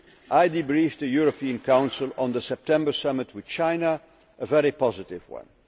term. I debriefed the European Council on the September Summit with China, a very positive